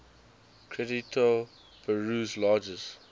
credito peru's largest